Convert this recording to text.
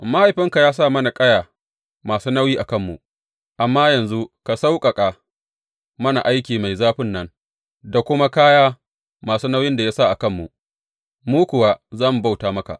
Mahaifinka ya sa mana kaya masu nauyi a kanmu, amma yanzu ka sauƙaƙa mana aiki mai zafin nan da kuma kaya masu nauyin da ya sa a kanmu, mu kuwa za mu bauta maka.